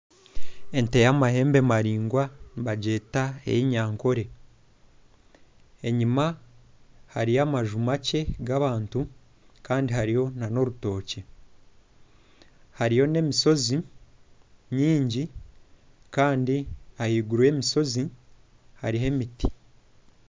Ente y'amahembe maraingwa nibagyeta ey'enyankore. Enyima hariyo amaju makye g'abantu. Kandi hariyo n'orutookye, hariyo n'emishozi mingi. Ahaiguru y'emishozi hariyo emiti.